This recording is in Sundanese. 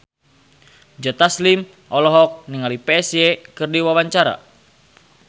Joe Taslim olohok ningali Psy keur diwawancara